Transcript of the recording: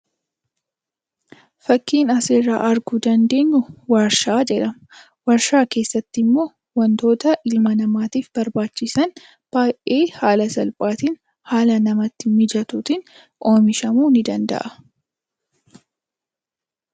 Fakkiin asirraa arguu dandeenyu Waarshaa jedhama. Waarshaa keessatti immoo wantoota ilma namaatiif barbaachisan baay'ee haala salphaatiin, haala namatti mijatuutiin oomishamuu ni danda'a.